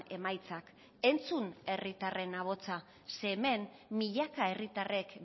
emaitzak entzun herritarren ahotsa ze hemen milaka herritarrek